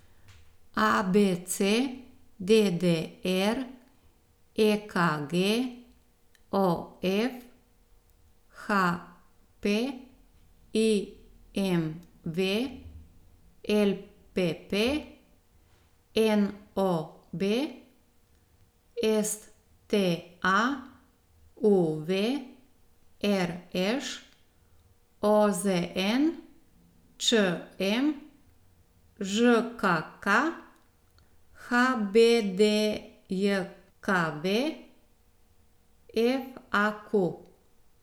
ABC, DDR, EKG, OF, HP, IMV, LPP, NOB, STA, UV, RŠ, OZN, ČM, ŽKK, HBDJKV, FAQ.